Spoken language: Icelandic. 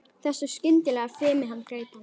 Þessu skyndilega fumi sem greip hann.